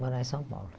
Morar em São Paulo.